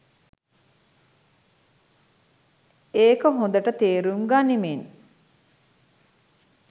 ඒක හොඳට තේරුම් ගනිමින්